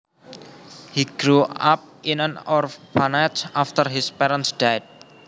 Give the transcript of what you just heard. He grew up in an orphanage after his parents died